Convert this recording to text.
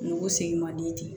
Nugu segin man di ten